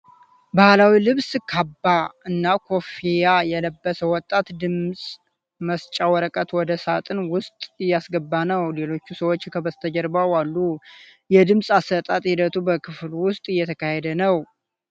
ባህላዊ ልብስ (ካባ) እና ኮፍያ የለበሰ ወጣት ድምፅ መስጫ ወረቀት ወደ ሳጥን ውስጥ እያስገባ ነው። ሌሎች ሰዎች ከበስተጀርባው አሉ። የድምጽ አሰጣጥ ሂደቱ በክፍል ውስጥ እየተካሄደ ነው።